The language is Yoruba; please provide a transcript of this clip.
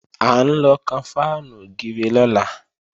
À ń lọ kan fáànù ògiri lọ́la